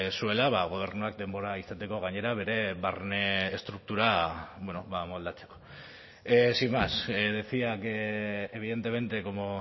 zuela gobernuak denbora izateko gainera bere barne estruktura moldatzeko sin más decía que evidentemente como